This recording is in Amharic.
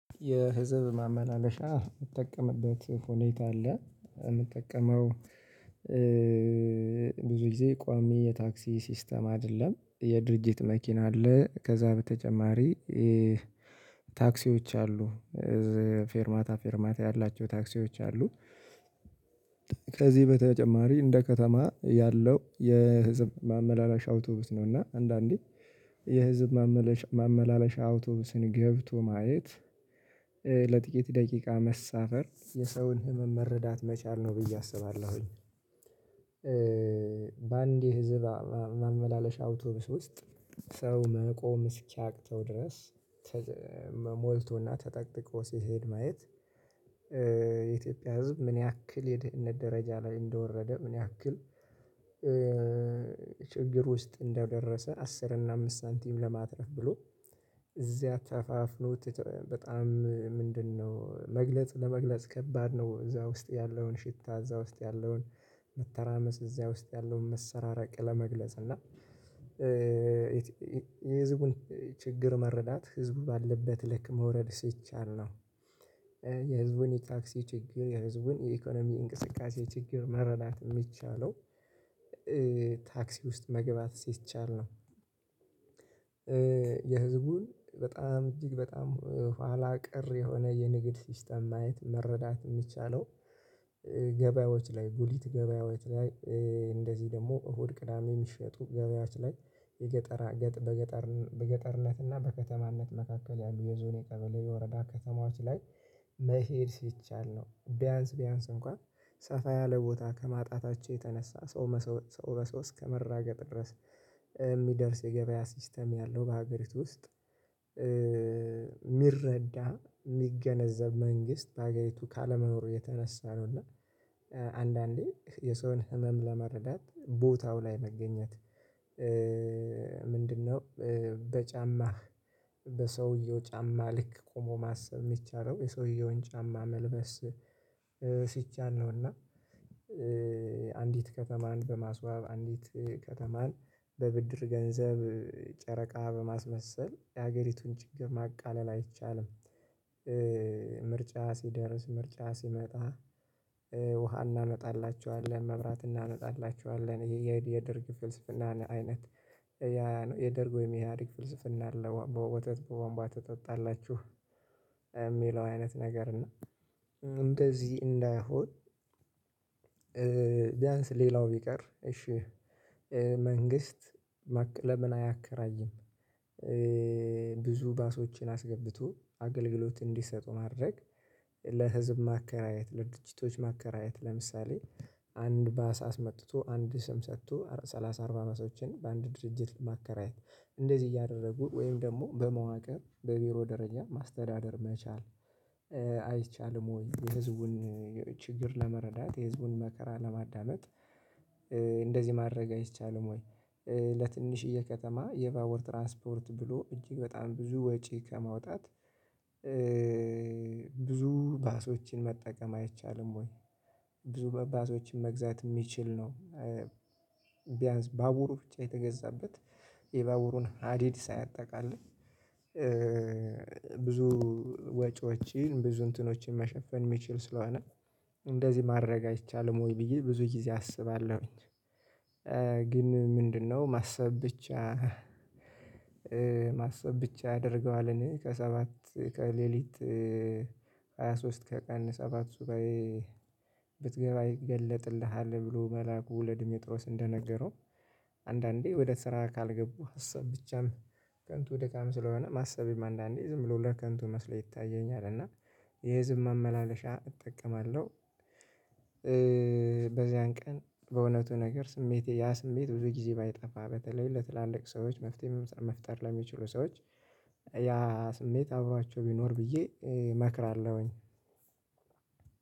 የህዝብ ማመናለሻ የምትጠቀምበት ሁኔታ አለ። እምጠቀመው ብዙ ጊዜ ቋሚ የታክሲ ሲስተም አይደለም የድርጅት መኪና አለ። ከዛ በተጨማሪ ታክሲዎች አሉ። ፌርማታ ፌርማታ ያላቸው ታክሲዎች አሉ። ከዚህ በተጨማሪ እንደ ከተማ ያለው የህዝብ ማመላለሻ አውቶብስ ነው እና አንዳንዴ የህዝብ ማመላለሻ አውቶቡስን ገብቶ ማየት ለጥቂት ደቂቃ መሳፈር የሰውን ህመም መረዳት መቻል ነው ብዬ አስባለሁኝ። በአንዴ የህዝብ ማመላለሻ አውቶቡስ ውስጥ ሰው መቆም እስኪያቅተው ድረስ ሞልቶና ተጠቅጥቆ ሲሄድ ማየት። የኢትዮጵያ ህዝብ ምን ያክል የደህንነት ደረጃ ላይ እንደወረደ ምን ያክል? ችግር ውስጥ እንደደረሰ አስር እና አምስት ሳንቲም ለማትረፍ ብሎ እዚያ ተፋፍኖት በጣም ምንድነው መግለጽ ለመግለጽ ከባድ ነው። እዛ ውስጥ ያለውን ሽታ እዛ ውስጥ ያለውን መተራመስ እዛ ውስጥ ያለውን መሰረራቅ ለመግለጽ እና የህዝቡን ችግር መረዳት ህዝቡ ባለበት ልክ መውረድ ሲቻል ነው። የህዝቡን የታክሲ ችግር የህዝቡን የኢኮኖሚ እንቅስቃሴ ችግር መረዳት የሚቻለው። ታክሲ ውስጥ መግባት ሲቻል ነው። የህዝቡን በጣም እጅግ በጣም ኋላ ቀር የሆነ የንግድ ሲስተም ማየት መረዳት የሚቻለው። ገበያዎች ላይ ጉሊት ገበያዎች ላይ እንደዚህ ደግሞ እሁድ ቅዳሜ የሚሸጡ ገበያዎች ላይ የገጠራ ገጥ በገጠር በገጠርነት እና በከተማነት መካከል ያሉ የዞን የቀበሌ የወረዳ ከተማዎች ላይ መሄድ ሲቻል ነው። ቢያንስ ቢያንስ እንኳን ሰፋ ያለ ቦታ ከማጣታቸው የተነሳ ሰው መስወጥ ሰው በሰው እስከመራገጥ ድረስ እሚደርስ የገበያ ሲስተም ያለው በሀገሪቱ ውስጥ የሚረዳ የሚገነዘብ መንግስት በአገሪቱ ካለመኖር የተነሳ ነው። እና አንዳንዴ የሰውን ህመም ለመረዳት ቦታው ላይ መገኘት። ምንድነው? በጫማህ በሰውየው ጫማ ልክ ቆሞ ማሰብ የሚቻለው የሰውየውን ጫማ መልበስ ሲቻል ነውና። አንዲት ከተማን በማስዋብ አንዲት ከተማን በብድር ገንዘብ ጨረቃ በማስመሰል የሀገሪቱን ችግር ማቃለል አይቻልም። ምርጫ ሲደርስ ምርጫ ሲመጣ ውሃ እናመጣላችኋለን መብራት እናመጣላችኋለን የየድርግ ፍልስፍናን አይነት ያነው የደርግ ወይም የኢሃድግ ፍልስፍና አለ። በወተት በወንቧ ትጠጣላችሁ? የሚለው አይነት ነገር እና እንደዚህ እንዳይሆን ቢያንስ ሌላው ቢቀር እሺ መንግስት ለምን አያከራይም? ብዙ ባሶችን አስገብቶ አገልግሎት እንዲሰጡ ማድረግ ለህዝብ ማከራየት ለድችቶች ማከራየት ለምሳሌ አንድ ባስ አስመጥቶ አንድ ስም ሰጥቶ ሰላሳ አርባ ባሶችን በአንድ ድርጅት ማከራየት እንደዚህ እያደረጉ ወይም ደግሞ በመዋቅር በቢሮ ደረጃ ማስተዳደር መቻል። አይቻልም ወይ? የህዝቡን ችግር ለመረዳት የህዝቡን መከራ ለማዳመጥ እንደዚህ ማድረግ አይቻልም። ወይ ለትንሽዬ ከተማ የባቡር ትራንስፖርት ብሎ እጅግ በጣም ብዙ ወጪ ከማውጣት ብዙ ባሶችን መጠቀም አይቻልም። ወይ ብዙ ባሶችን መግዛት የሚችል ነው። ቢያንስ ባቡሩ ብቻ የተገዛበት የባቡሩን ሀዲድ ሳያጠቃልል ብዙ ወጪዎችን ብዙ እንትኖችን መሸፈን የሚችል ስለሆነ እንደዚህ ማድረግ አይቻልም። ወይ ብዬ ብዙ ጊዜ አስባለሁኝ። ግን ምንድነው? ማሰብ ብቻ ማሰብ ብቻ አድርገዋልን እኔ ከሰባት ከሌሊት ከቀን ሰባት ሱባኤ ብትገባ ይገለጥልሃል። ብሎ መልአኩ ለዲሜጥሮስ እንደነገረው አንዳንዴ ወደ ስራ ካልገቡ ሀሳብ ብቻም ከንቱ ደካም ስለሆነ ማሰቤም አንዳንዴ ዝም ብሎ ለከንቱ መስሎ ይታየኛል። እና የህዝብ መመላለሻ እጠቀማለሁ። በዚያን ቀን በእውነቱ ነገር ስሜቴ ያ ስሜት ብዙ ጊዜ ባይጠፋ በተለይ ለትላልቅ ሰዎች መፍትሄ መፍጠር ለሚችሉ ሰዎች ያ ስሜት አብሯቸው ቢኖር ብዬ እመክራለሁኝ።